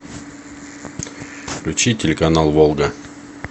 включи телеканал волга